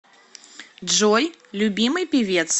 джой любимый певец